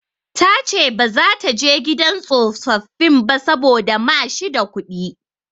Ta ce ba za ta je gidan tsofaffin ba saboda ma shi da kuɗi.